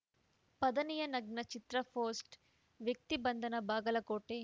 ಪಧಾನಿಯ ನಗ್ನ ಚಿತ್ರ ಪೋಸ್ಟ್‌ ವ್ಯಕ್ತಿ ಬಂಧನ ಬಾಗಲಕೋಟೆ